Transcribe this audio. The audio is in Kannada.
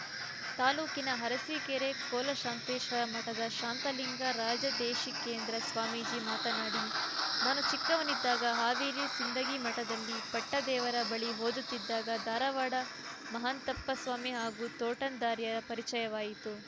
ತಾಲೂಕಿನ ಅರಸೀಕೆರೆ ಕೋಲಶಾಂತೇಶ್ವರ ಮಠದ ಶಾಂತಲಿಂಗ ರಾಜದೇಶಿಕೇಂದ್ರ ಸ್ವಾಮೀಜಿ ಮಾತನಾಡಿ ನಾನು ಚಿಕ್ಕನವನಿದ್ದಾಗ ಹಾವೇರಿ ಸಿಂಧಗಿ ಮಠದಲ್ಲಿ ಪಟ್ಟದೇವರ ಬಳಿ ಓದುತ್ತಿದ್ದಾಗ ಧಾರವಾಡ ಮಹಾಂತಪ್ಪಸ್ವಾಮಿ ಹಾಗೂ ತೋಂಟದಾರ್ಯರ ಪರಿಚಯವಾಯಿತು